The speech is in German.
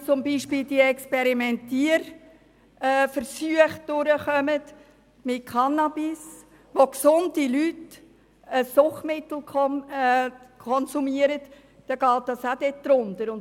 Sollten zum Beispiel diese Experimentierversuche mit Cannabis durchkommen, bei denen gesunde Leute ein Suchtmittel konsumieren, dann fällt das auch in diesen Bereich.